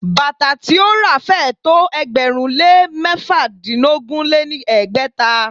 Bàtà tí ó ra féé tó ẹgbẹ̀rún lé mẹ́fàdínogún lé ní ẹgbẹ́ta.